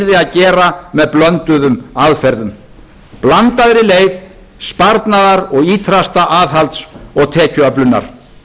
að gera með blönduðum aðferðum blandaðri leið sparnaðar og ýtrasta aðhalds og tekjuöflunar